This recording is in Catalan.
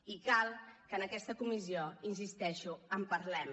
i cal que en aquesta comissió hi insisteixo en parlem